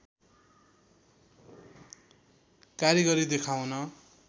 कारिगरी देखाउन